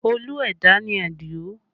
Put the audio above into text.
Olú ẹ̀dá ni Adio